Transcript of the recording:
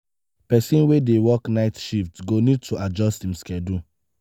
person wey dey work night shift go need to adjust im schedule